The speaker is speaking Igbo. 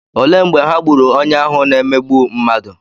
Olee mgbe ha gburu onye ahụ na-emegbu mmadụ?